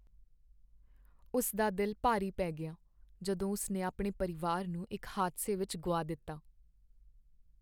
ਉਸ ਦਾ ਦਿਲ ਭਾਰੀ ਪੈ ਗਿਆ ਜਦੋਂ ਉਸ ਨੇ ਆਪਣੇ ਪਰਿਵਾਰ ਨੂੰ ਇਕ ਹਾਦਸੇ ਵਿਚ ਗੁਆ ਦਿੱਤਾ।